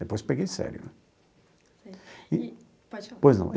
Depois peguei sério né. Certo e... pode falar. Pois não?